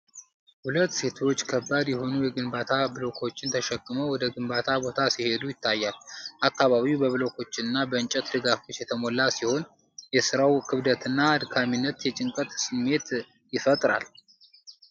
ሁለት ሴቶች ከባድ የሆኑ የግንባታ ብሎኮችን ተሸክመው ወደ ግንባታ ቦታ ሲሄዱ ይታያል። አካባቢው በብሎኮችና በእንጨት ድጋፎች የተሞላ ሲሆን፣ የሥራው ክብደትና አድካሚነት የጭንቀት ስሜት ይፈጥራል።